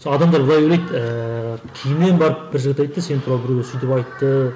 сол адамдар былай ойлайды ыыы кейіннен барып бір жігіт айтты сен туралы біреулер сөйтіп айтты